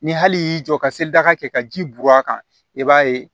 Ni hali y'i jɔ ka se daga kɛ ka ji bɔn a kan i b'a ye